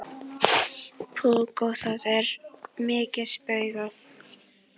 Púkk og það er mikið spaugað.